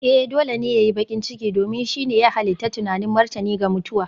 Ee! Dole ne ya yi baƙin ciki, domin shi ne na halitta tunanin martani ga mutuwa.